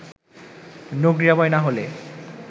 রোগ নিরাময় না হলে